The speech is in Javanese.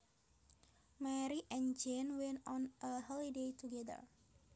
Mary and Jane went on a holiday together